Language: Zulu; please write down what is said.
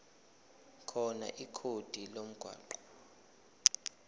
khona ikhodi lomgwaqo